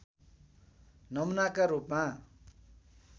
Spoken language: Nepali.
नमुनाका रूपमा